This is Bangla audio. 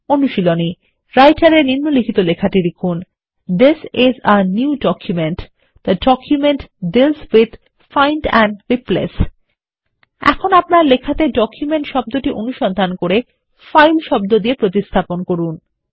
অনুশীলনী রাইটার এ নিম্নলিখিত লেখাটি লিখুন থিস আইএস a নিউ documentথে document deals with find and replace এখন আপনার লেখাটি ডকুমেন্ট শব্দটি অনুসন্ধান করে ফাইল শব্দ দিয়ে প্রতিস্থাপন করুন